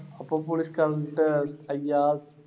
அப்ப போலீஸ்காரங்கிட்ட ஐயா,